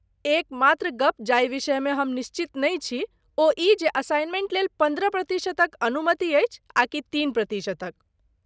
एकमात्र गप जाहि विषयमे हम निश्चित नहि छी ओ ई जे असाइनमेंट लेल पन्द्रह प्रतिशतक अनुमति अछि आकि तीन प्रतिशतक।